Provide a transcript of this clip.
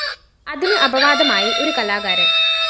അതിന് അപവാദമായി ഒരു കലാകാരന്‍